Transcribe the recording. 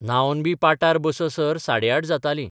न्हावनबी पाटार बससर साडेआठ जातालीं.